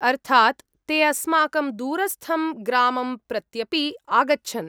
अर्थात्, ते अस्माकं दूरस्थं ग्रामं प्रत्यपि आगच्छन्।